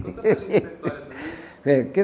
Conta para a gente da história para mim.